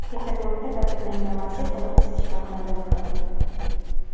Peterburgda kaltaklangan masjid qo‘riqchisi shifoxonada vafot etdi.